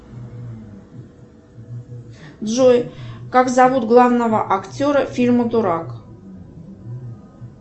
джой как зовут главного актера фильма дурак